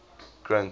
grint